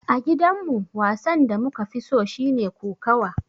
A gidan mu, wasan da muka fi so shine kokawa.